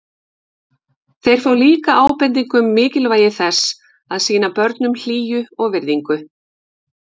Þeir fá líka ábendingu um mikilvægi þess að sýna börnum hlýju og virðingu.